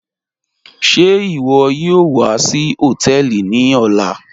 Ṣẹ́ iwo yóò wà sí hotẹẹlì ní ọlá?